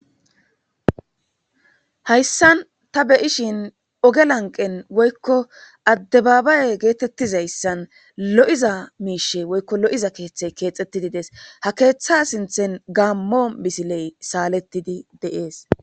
Hayssan ta beyishin oge lanqen woykko adde baabaye geetettizayssan lo7iza miishe woykko lo7iza keeththey keexxettidi des ha keeththa sinthen gaammo misiley saalettidi de7ees